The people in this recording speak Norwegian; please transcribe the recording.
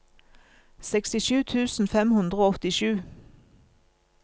sekstisju tusen fem hundre og åttisju